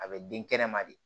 A bɛ den kɛnɛma de